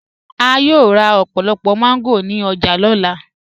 A yòò rá ọ̀pọ̀lọ̀pọ̀ mango ni ọ̀jà ni ọlá.